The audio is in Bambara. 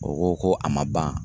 O ko ko a ma ban a ?